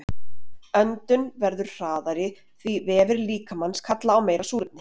Öndun verður hraðari því vefir líkamans kalla á meira súrefni.